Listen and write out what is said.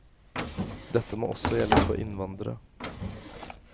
Dette må også gjelde for innvandrere.